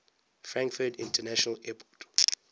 frankfurt international airport